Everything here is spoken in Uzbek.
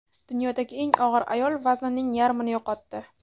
Dunyodagi eng og‘ir ayol vaznining yarmini yo‘qotdi .